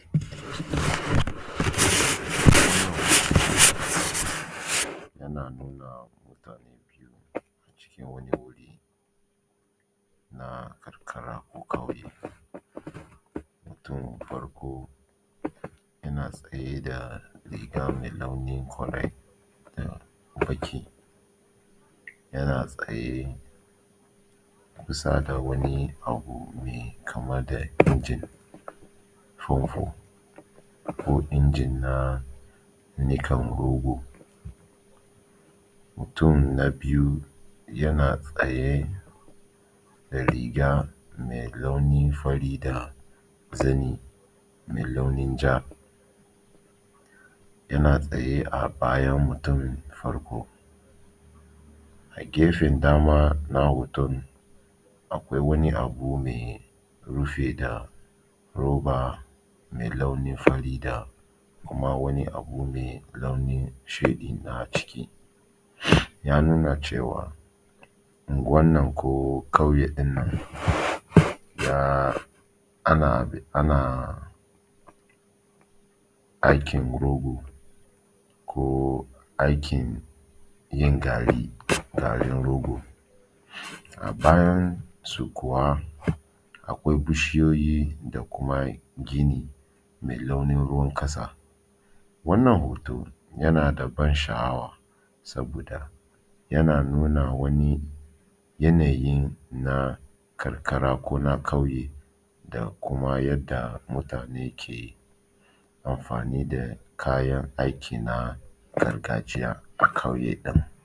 Yana nuna mutanee cikin wani wuri na karkara ko ƙauye. Mutumin farko yana tsaye da riga mai launin fari uhh baƙi yana tsaye a kusa da wani abu mai kama da injin fanfo ko injin na niƙan rogo. Mutum na biyu yana tsaye da riga mai launin fari da zani mai launin ja, yana tsaye a bayan mutumin farko. A gefen dama na hoton akwai wani abu rufe da roba mai launin fari da kuma wani abu mai launin shuɗi na ciki, ya nuna cewa unguwan nan ko ƙauye ɗin nan ya ana ana aikin rogo ko aikin yin gari garin rogo. A bayan su kuwa akwai bishiyoyi da kuma gini mai launin ruwan ƙasa. Wannan hoto yana da ban sha’awa saboda yana nuna wani yanayi na karkara ko na ƙauye da kuma yadda mutane ke amfani da kayan aiki na gargajiya a ƙauye.